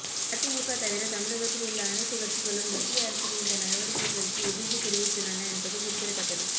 அதிமுக தவிர தமிழகத்தில் உள்ள அனைத்து கட்சிகளும் மத்திய அரசின் இந்த நடவடிக்கைகளுக்கு எதிர்ப்பு தெரிவித்துள்ளன என்பது குறிப்பிடத்தக்கது